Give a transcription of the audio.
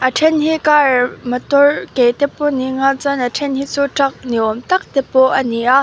a then hi car motor ke te pawh ni anga chuan a then hi chu truck ni awm tak te ani a.